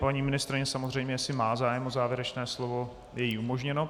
Paní ministryně samozřejmě jestli má zájem o závěrečné slovo, je jí umožněno.